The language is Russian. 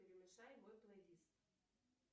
перемешай мой плейлист